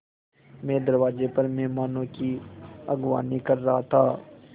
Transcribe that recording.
मैं दरवाज़े पर मेहमानों की अगवानी कर रहा था